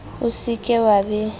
o se ke wa be